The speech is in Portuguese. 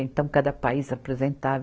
Então, cada país apresentava.